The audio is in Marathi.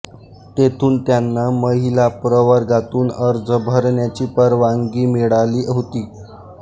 तेथून त्यांना महिला प्रवर्गातून अर्ज भरण्याची परवानगी मिळाली होती